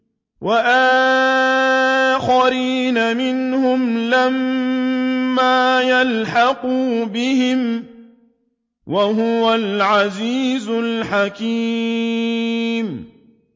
وَآخَرِينَ مِنْهُمْ لَمَّا يَلْحَقُوا بِهِمْ ۚ وَهُوَ الْعَزِيزُ الْحَكِيمُ